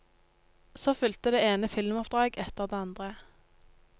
Så fulgte det ene filmoppdrag etter det andre.